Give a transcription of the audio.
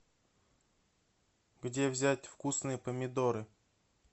где взять вкусные помидоры